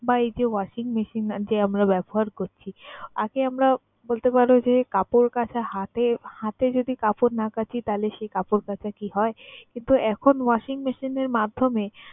বা এই যে washing machine যে আমরা ব্যবহার করছি, আগে আমরা বলতে পারো যে কাপড় কাচা হাতে হাতে যদি কাপড় না কাঁচি তাহলে সে কাপড় কাচা কি হয়? কিন্তু এখন washing machine এর মাধ্যমে